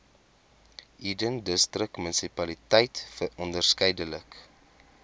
eden distriksmunisipaliteit onderskeidelik